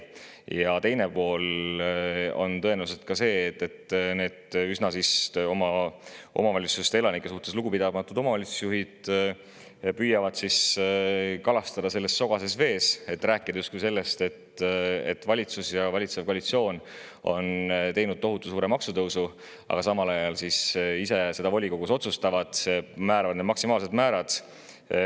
Ja teine on see, et need oma omavalitsuse elanike suhtes üsna lugupidamatud omavalitsusjuhid püüavad tõenäoliselt kalastada sogases vees, räägivad sellest, justkui valitsus ja valitsev koalitsioon on teinud tohutu suure maksutõusu, aga samal ajal ise otsustavad volikogus määrata need maksimaalsed määrad.